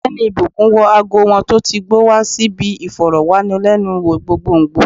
Ogbeni ìbùkún wọ ago wọn tó ti gbó wa si bi iforowanilenu wo gbogbogbo